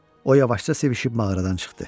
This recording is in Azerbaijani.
O yavaşca sevişib mağaradan çıxdı.